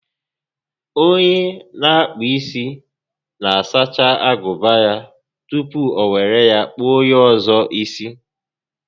Onye n'akpụ isi na-asacha agụba ya tupu o were ya kpụọ onyé ọzọ isi